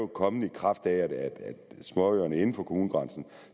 kommet i kraft af at småøerne inden for kommunegrænsen